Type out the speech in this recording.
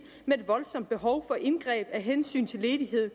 med et voldsomt behov for indgreb af hensyn til ledighed